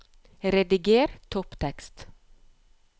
Rediger topptekst